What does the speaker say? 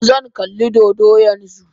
Zan kalli dodo yanzu